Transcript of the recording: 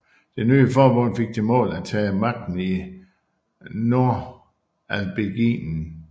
Det nye forbund fik til mål at tage magten i Nordalbingien